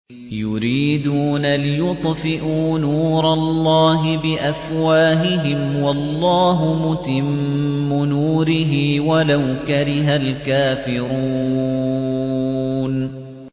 يُرِيدُونَ لِيُطْفِئُوا نُورَ اللَّهِ بِأَفْوَاهِهِمْ وَاللَّهُ مُتِمُّ نُورِهِ وَلَوْ كَرِهَ الْكَافِرُونَ